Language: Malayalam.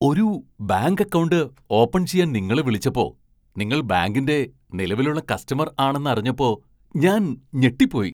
ഒരു ബാങ്ക് അക്കൗണ്ട് ഓപ്പൺ ചെയ്യാൻ നിങ്ങളെ വിളിച്ചപ്പോ നിങ്ങൾ ബാങ്കിന്റെ നിലവിലുള്ള കസ്റ്റമർ ആണെന്ന് അറിഞ്ഞപ്പോ ഞാൻ ഞെട്ടിപ്പോയി.